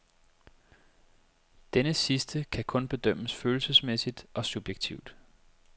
Denne sidste kan kun bedømmes følelsesmæssigt og subjektivt.